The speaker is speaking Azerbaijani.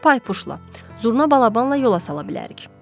Onu Paypuşla, Zurna balabanla yola sala bilərik.